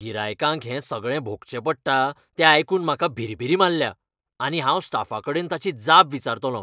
गिरायकांक हें सगळें भोगचें पडटा तें आयकून म्हाका भिरभिरी मारल्या आनी हांव स्टाफाकडेन ताची जाप विचारतलों.